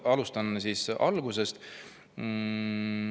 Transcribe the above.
Alustan siis algusest.